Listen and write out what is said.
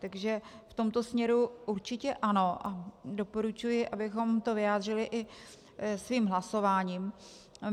Takže v tomto směru určitě ano a doporučuji, abychom to vyjádřili i svým hlasováním.